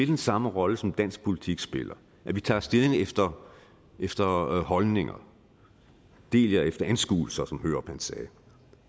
den samme rolle som dansk politik spiller at vi tager stilling efter efter holdninger del jer efter anskuelser som hørup sagde og